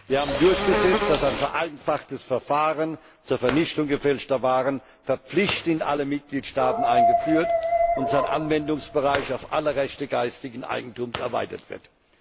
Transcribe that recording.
Wir haben durchgesetzt, dass ein vereinfachtes Verfahren zur Vernichtung gefälschter Waren verpflichtend in allen Mitgliedstaaten eingeführt und sein Anwendungsbereich auf alle Rechte geistigen Eigentums erweitert wird.